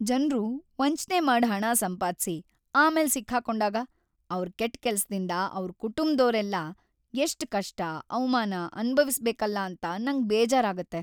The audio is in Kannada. ಜನ್ರು ವಂಚ್ನೆ ಮಾಡ್ ಹಣ ಸಂಪಾದ್ಸಿ ಆಮೇಲ್‌ ಸಿಕ್ ಹಾಕೊಂಡಾಗ, ಅವ್ರ್ ಕೆಟ್ ಕೆಲ್ಸದಿಂದ ಅವ್ರ್ ಕುಟುಂಬ್ದೋರೆಲ್ಲ ಎಷ್ಟ್‌ ಕಷ್ಟ, ಅವ್ಮಾನ ಅನ್ಭವಿಸ್ಬೇಕಲ್ಲ ಅಂತ‌ ನಂಗ್ ಬೇಜಾರಾಗತ್ತೆ.